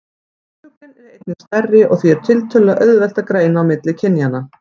Kvenfuglinn er einnig stærri og því er tiltölulega auðvelt að greina á milli kynjanna.